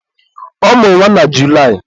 ọ mụrụ nwa na Julaị